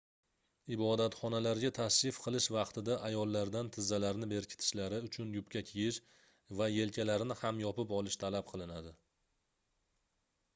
ibodatxonalarga tashrif qilish vaqtida ayollardan tizzalarini berkitishlari uchun yubka kiyish va yelkalarini ham yopib olish talab qilinadi